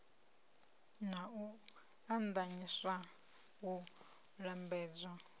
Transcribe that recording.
na u eḓanyisa u lambedzwa